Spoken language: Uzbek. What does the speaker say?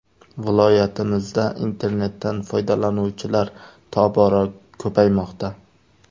– Viloyatimizda internetdan foydalanuvchilar tobora ko‘paymoqda.